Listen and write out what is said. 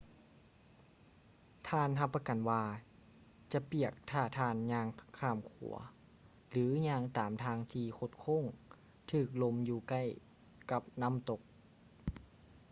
ທ່ານຮັບປະກັນວ່າຈະປຽກຖ້າທ່ານຍ່າງຂ້າມຂົວ ຫຼື ຍ່າງຕາມທາງທີ່ຄົດໂຄ້ງຖືກລົມຢູ່ໃກ້ກັບນ້ຳຕົກ